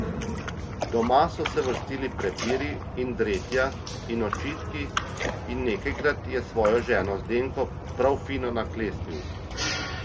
Doma so se vrstili prepiri in dretja in očitki in nekajkrat je svojo ženo Zdenko prav fino naklestil.